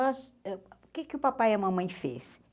nós uh O que o papai e a mamãe fez?